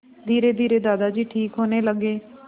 धीरेधीरे दादाजी ठीक होने लगे